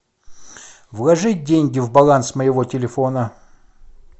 вложить деньги в баланс моего телефона